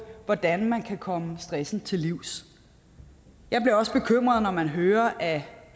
hvordan man kan komme stressen til livs jeg bliver også bekymret når man hører at